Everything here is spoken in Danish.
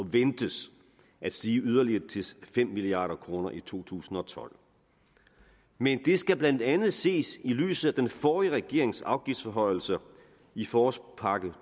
ventes at stige yderligere til fem milliard kroner i to tusind og tolv men det skal blandt andet ses i lyset af den forrige regerings afgiftsforhøjelser i forårspakke